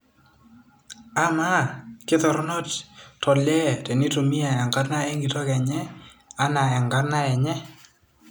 Ama, kitorono tolee teneitumia enkarna enkitok enye anaa enkarna enye ?